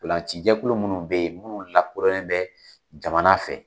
Ntolacijɛkulu minnu bɛ yen minnu lakɔrɔnlen bɛ jamana fɛ.